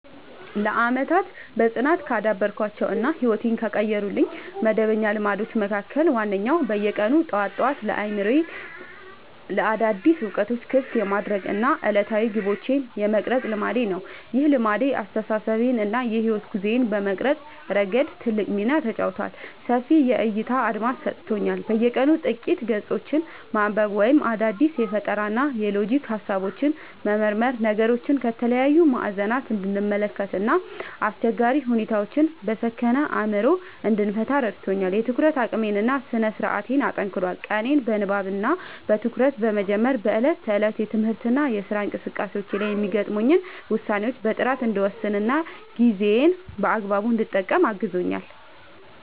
ለዓመታት በጽናት ካዳበርኳቸው እና ሕይወቴን ከቀየሩልኝ መደበኛ ልማዶች መካከል ዋነኛው በየቀኑ ጠዋት ጠዋት አእምሮዬን ለአዳዲስ እውቀቶች ክፍት የማድረግ እና ዕለታዊ ግቦቼን የመቅረጽ ልማዴ ነው። ይህ ልማድ አስተሳሰቤን እና የሕይወት ጉዞዬን በመቅረጽ ረገድ ትልቅ ሚና ተጫውቷል፦ ሰፊ የዕይታ አድማስ ሰጥቶኛል፦ በየቀኑ ጥቂት ገጾችን ማንበብ ወይም አዳዲስ የፈጠራና የሎጂክ ሃሳቦችን መመርመር ነገሮችን ከተለያዩ ማዕዘናት እንድመለከት እና አስቸጋሪ ሁኔታዎችን በሰከነ አእምሮ እንድፈታ ረድቶኛል። የትኩረት አቅሜን እና ስነ-ስርዓቴን አጠናክሯል፦ ቀኔን በንባብ እና በትኩረት በመጀመሬ በዕለት ተዕለት የትምህርትና የሥራ እንቅስቃሴዎቼ ላይ የሚገጥሙኝን ውሳኔዎች በጥራት እንድወስንና ጊዜዬን በአግባቡ እንድጠቀም አግዞኛል።